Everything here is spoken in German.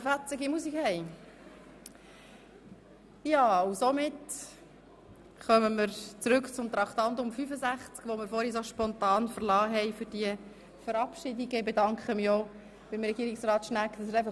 Nun kommen wir zurück zu Traktandum 65, dessen Beratung wir vorhin spontan für die Verabschiedungen unterbrochen haben.